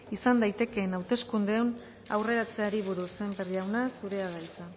izan daitekeen hauteskundeen aurreratzeari buruz sémper jauna zurea da hitza